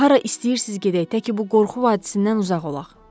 Hara istəyirsiz gedək, təki bu qorxu vadisindən uzaq olaq.